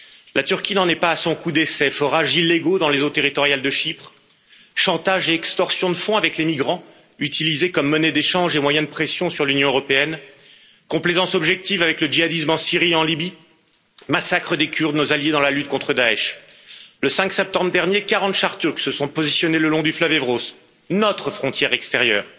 La Turquie n'en est pas à son coup d'essai forages illégaux dans les eaux territoriales de Chypre, chantage et extorsion de fonds avec les migrants utilisés comme monnaie d'échange et moyens de pression sur l'Union européenne, complaisance objective avec le djihadisme en Syrie et en Libye, massacre des Kurdes, nos alliés dans la lutte contre Daech. Le 5 septembre dernier, 40 chars turcs se sont positionnés le long du fleuve Evros, notre frontière extérieure.